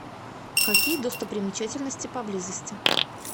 какие достопримечательности поблизости